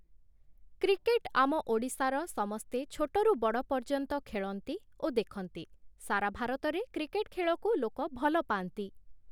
Cricket ଆମ ଓଡ଼ିଶାର ସମସ୍ତେ ଛୋଟରୁ ବଡ଼ ପର୍ଯ୍ୟନ୍ତ ଖେଳନ୍ତି ଓ ଦେଖନ୍ତି । ସାରା ଭାରତରେ କ୍ରିକେଟ୍‌ ଖେଳକୁ ଲୋକ ଭଲ ପାଆନ୍ତି ।